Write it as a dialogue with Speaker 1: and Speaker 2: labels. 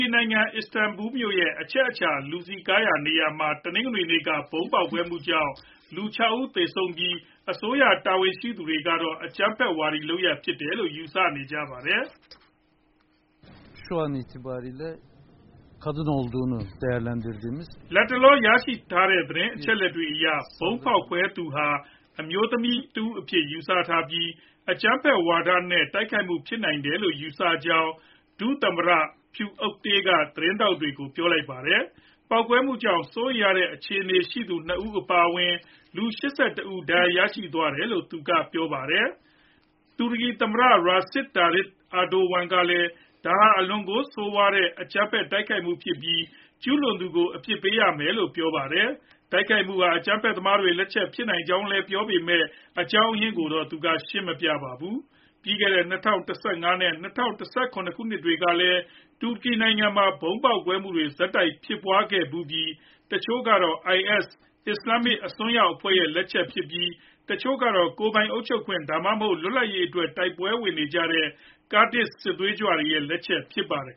Speaker 1: ီနိုင်ငံ၊ အီစတန်ဘူမြို့ရဲ့ အချက်အခြာ လူစည်ကားရာနေရာမှာ တနင်္ဂနွေနေ့က ဗုံးပေါက်ကွဲမှုကြောင့် လူ ၆ ဦးသေဆုံးခဲ့ပြီး၊ အစိုးရတာဝန်ရှိသူတွေကတော့ အကြမ်းဖက်ဝါဒီ လုပ်ရပ်အဖြစ် ယူဆနေကြပါတယ်။ လတ်တလော ရရှိထားတဲ့ သတင်းအချက်အလက်တွေအရ ဗုံးဖောက်ခွဲတဲ့သူဟာ အမျိုးသမီးအဖြစ် ယူဆထားပြီး၊ အကြမ်းဖက်ဝါဒစွဲနဲ့ တိုက်ခိုက်မှုဖြစ်နိုင်တယ်လို့ ယူဆထားကြောင်း ဒုသမ္မတ Fuat Oktay က သတင်းထောက်တွေကို ပြောလိုက်တာပါ။ ပေါက်ကွဲမှုကြောင့် စိုးရိမ်ရတဲ့ အခြေအနေရှိသူ ၂ ဦး အပါအဝင် လူ ၈၁ ဦး ဒဏ်ရာ ရရှိသွားတယ်လို့လည်း သူကပြောပါတယ်။ တူရကီ သမ္မတ Recep Tayyip Erdogan ကလည်း ဒါဟာ အလွန်ကို ဆိုးဝါးတဲ့ အကြမ်းဖက်တိုက်ခိုက်မှုဖြစ်ပြီး ကျူးလွန်သူတွေကို အပြစ်ပေးရမယ်လို့ ပြောပါတယ်။ တိုက်ခိုက်မှုဟာ အကြမ်းဖက်သမားတွေ လက်ချက်ဖြစ်နိုင်ကြောင်းလည်း ပြောခဲ့ပေမဲ့ အကြောင်းရင်းကိုတော့ ရှင်းမပြပါဘူး။ ပြီးခဲ့တဲ့ ၂ဝ၁၅ နဲ့ ၂ဝ၁၇ ခုနှစ်တွေကလည်း တူရကီမှာ ဗုံးပေါက်ကွဲမှုတွေ ဆက်တိုက်ဖြစ်ပွားခဲ့ဖူးပြီး တချို့ကတော့ IS အစ္စလာမ်အစွန်းရောက်အဖွဲ့ လက်ချက်ဖြစ်ပြီး ၊ တချို့ကတော့ ကိုယ်ပိုင်အုပ်ချုပ်ခွင့် ဒါမှမဟုတ် လွတ်လပ်ရေးအတွက် တိုက်ပွဲဝင်နေကြတဲ့ ကာဒ်စစ်သွေးကြွတွေရဲ့ လက်ချက်ဖြစ်ပါတယ်